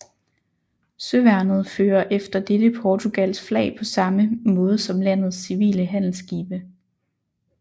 Søværnet fører efter dette Portugals flag på samme måde som landets civile handelsskibe